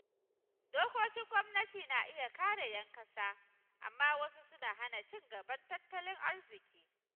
Dokokin gwamnati na iya kare ‘yan kasa, amma wasu suna hana ci gaban tattalin arziki.